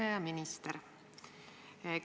Härra minister!